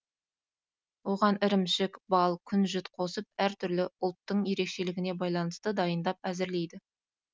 оған ірімшік бал күнжіт қосып әртүрлі ұлттың ерекшелігіне байланысты дайындап әзірлейді